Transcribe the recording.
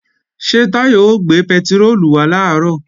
Ṣé Táyọ̀ ó gbé pẹtiróòlù wá làárọ̀?